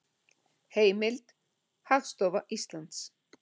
Heimild: Hagstofa Íslands